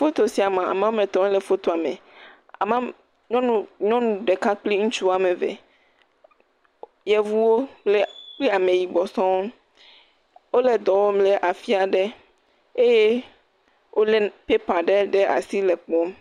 Foto sia me ame wɔme etɔ̃ le fotoa me. Ame wɔme nyɔnu nyɔnu ɖeka kple ŋutsu ame eve. Yevuwo kple kple ameyibɔ sɔŋ. Wo le dɔ wɔm le afi aɖe eye wo le pɛpa ɖe ɖe asi le kpɔm.